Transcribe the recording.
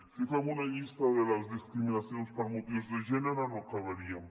si fem una llista de les discriminacions per motius de gènere no acabaríem